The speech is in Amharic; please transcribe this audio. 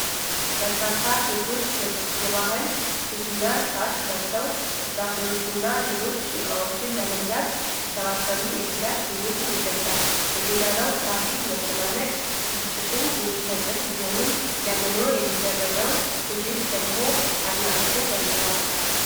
በርካታ ሴቶች የባህል ሽቲና ሻሽ ለብሰው፤ ፍራፍሬዎችንና ሌሎች ዕቃዎችን ለመግዛት ሲሰባሰቡ የትጋት ስሜትን ይገልፃል :: የጎዳናው ትራፊክ መጨናነቅ ብስጭትን የሚፈጥር ቢሆንም፤ ለመኖር የሚደረገው ትግል ደግሞ አድናቆትን ያንጸባርቃል ።